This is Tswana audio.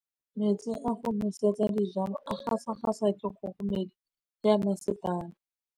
Metsi a go nosetsa dijalo a gasa gasa ke kgogomedi ya masepala.